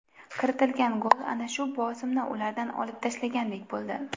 Kiritilgan gol ana shu bosimni ulardan olib tashlagandek bo‘ldi.